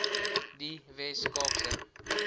die wes kaapse